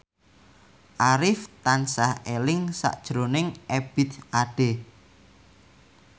Arif tansah eling sakjroning Ebith Ade